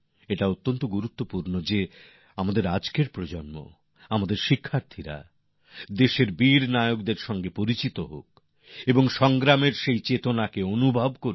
এটা খুবই জরুরি যে আজকের প্রজন্ম আমাদের শিক্ষার্থী স্বাধীনতার যুদ্ধে আমাদের দেশের নায়কদের সম্পর্কে জানুন তাকে ততটাই অনুভব করুন